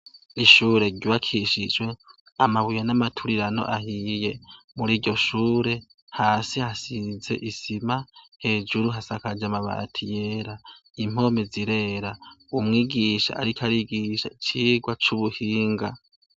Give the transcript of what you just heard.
Ishure ryubakishijwe amabuye n'amaturirano ahiye. Muriryo shure, hasi hasize isima, hejuru hasakaje amabati yera, impome zirera. Umwigisha ariko arigisha icigwa c'ubuhinga.